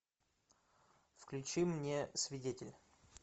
включи мне свидетель